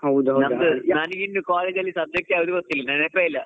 ನಂದು ನಂಗಿನ್ನೂ college ಅಲ್ಲಿ subject ಯಾವ್ದು ಗೊತ್ತಿಲ್ಲ ನೆನಪೇ ಇಲ್ಲ.